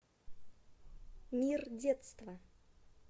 мир детства